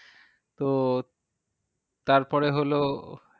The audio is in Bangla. তো তারপরে হলো